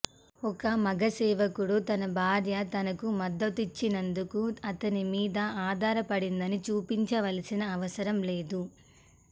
ఒక మగ సేవకుడు తన భార్య తనకు మద్దతునిచ్చినందుకు అతని మీద ఆధారపడిందని చూపించవలసిన అవసరం లేదు